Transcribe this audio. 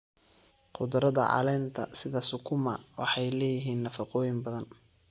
Khudradda caleenta sida sukuma waxay leeyihiin nafaqooyin badan.